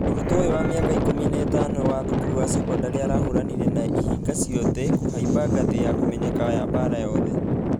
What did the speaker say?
Mũrutwa ũyũ wa mĩaka ikũmi na ithano wa thukuru ya sekondarĩ arahũranire na ihinga ciotje kũhaimba ngathĩya kũmenyeka ya baara yothe.